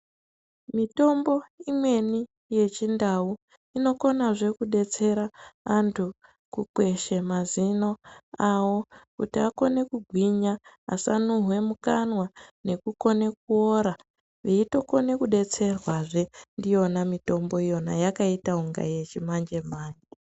Mitombo imweni yechindau inokonazve kudetsera antu kukweshe mazino awo kuti akone kugwinya asanuhwe mukanwa, nekukone kuora veitokone kudetserwazve ndiyona mitombo iyona yakaita unga yechimanje-manje .